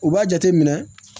U b'a jateminɛ